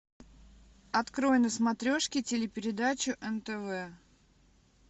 открой на смотрешке телепередачу нтв